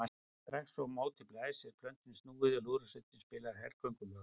Strax og á móti blæs er plötunni snúið við og lúðrasveitin spilar hergöngulög.